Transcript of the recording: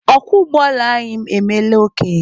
Ọkwọ ụgbọala anyị emeela okenye